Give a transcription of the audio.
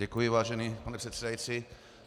Děkuji, vážený pane předsedající.